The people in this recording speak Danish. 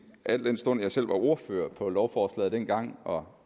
al den stund jeg selv var ordfører på lovforslaget dengang og